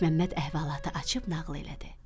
Məlik Məmməd əhvalatı açıb nağıl elədi.